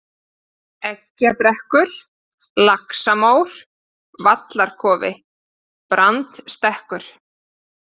Eggjabrekkur, Laxamór, Vallarkofi, Brandstekkur